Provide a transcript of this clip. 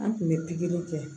An tun bɛ pikiri kɛ